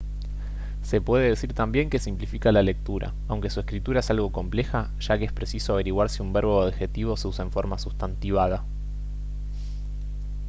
se puede decir también que simplifica la lectura aunque su escritura es algo compleja ya que es preciso averiguar si un verbo o adjetivo se usa en forma sustantivada